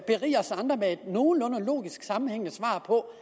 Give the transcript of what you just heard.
kan nogenlunde logisk sammenhængende svar på